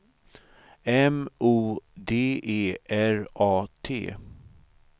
M O D E R A T